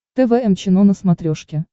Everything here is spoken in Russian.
тэ вэ эм чено на смотрешке